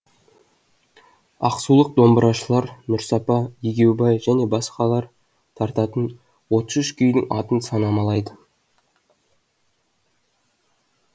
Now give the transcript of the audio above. ақсулық домбырашылар нұрсапа егеубай және басқалар тартатын отыз үш күйдің атын санамалайды